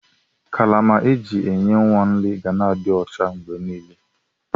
Karama eji enye nwa nri ga na adi ọcha mgbenile.